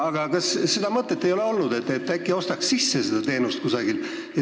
Aga kas seda mõtet ei ole olnud, et äkki ostaks seda teenust kusagilt sisse?